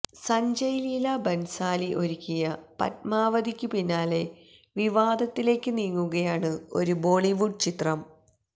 സഞ്ജയ് ലീലാ ബന്സാലി ഒരുക്കിയ പദ്മാവതിനു പിന്നാലെ വിവാദത്തിലേക്ക് നീങ്ങുകയാണ് ഒരു ബോളിവുഡ് ചിത്രം